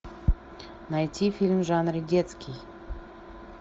найти фильм в жанре детский